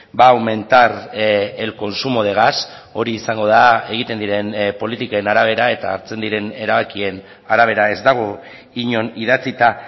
va a aumentar el consumo de gas hori izango da egiten diren politiken arabera eta hartzen diren erabakien arabera ez dago inon idatzita